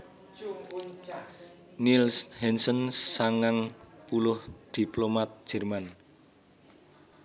Niels Hansen sangang puluh diplomat Jerman